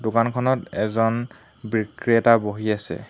দোকানখনত এজন বিক্রেতা বহি আছে।